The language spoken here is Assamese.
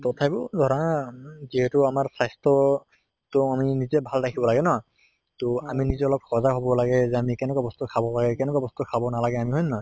তথাপিও ধৰা যিহেতু আমাৰ স্বাস্থ্য় তʼ আমি নিজে ভাল ৰাখিব লাগে ন। তʼ আমি নিজে সজাগ হʼব লাগে বা আমি কেনেকুৱা বস্তু খাব লাগে, কেনেকুৱা বস্তু খাব নালাগে আমি হয় নে নহয়?